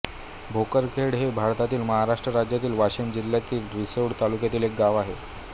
भोकरखेड हे भारतातील महाराष्ट्र राज्यातील वाशिम जिल्ह्यातील रिसोड तालुक्यातील एक गाव आहे